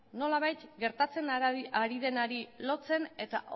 nolabait gertatzen ari denari lotzen eta